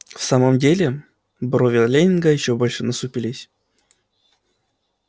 в самом деле брови лэннинга ещё больше насупились